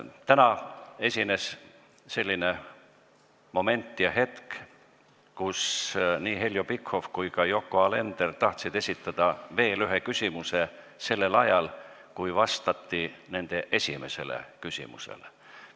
Täna esines selline hetk, kui nii Heljo Pikhof kui ka Yoko Alender tahtsid esitada veel ühe küsimuse juba sellel ajal, kui vastati nende esimesele küsimusele.